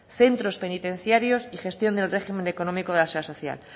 centros penitenciarios y gestión del régimen económico de la seguridad social